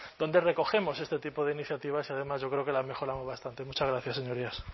donde recogemos este tipo de iniciativas y además yo creo que la han mejorado bastante muchas gracias señorías